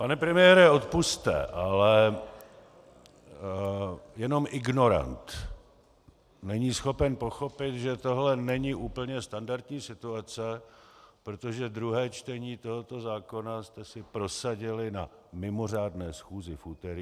Pane premiére, odpusťte, ale jenom ignorant není schopen pochopit, že tohle není úplně standardní situace, protože druhé čtení tohoto zákona jste si prosadili na mimořádné schůzi v úterý.